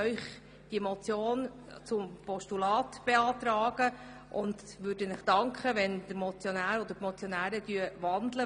Deshalb beantragen wir Ihnen, diese Motion in ein Postulat umzuwandeln.